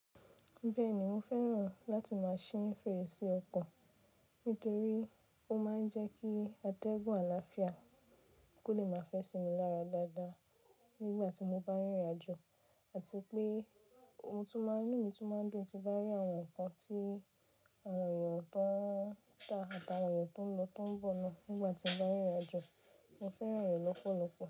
Bẹ́ẹ̀ni mo fẹ́ràn láti máa ṣí fèrèsé ọkọ̀ nítorí ó máa ń jẹ́ kí atẹ́gùn àlàáfíà kó lè máa fẹ́ sí mi lára dáadáa nígbà tí mo bá rìnrìnàjò àti pé ohun tún máa ń inu mi tún máa ń dùn tí mo bá rí àwọn nǹkan tí àwọn èèyàn tó ń tà àtàwọn èèyàn tó ń lọ tón bọ̀ lọ nígbà tí n bá rìnrìnàjò. Mo fẹ́ràn rẹ̀ lọ́pọ̀lọpọ̀.